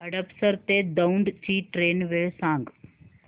हडपसर ते दौंड ची ट्रेन वेळ सांग